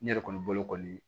Ne yɛrɛ kɔni bolo kɔni